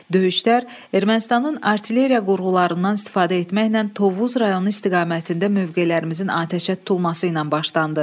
Döyüşlər Ermənistanın artilleriya qurğularından istifadə etməklə Tovuz rayonu istiqamətində mövqelərimizin atəşə tutulması ilə başlandı.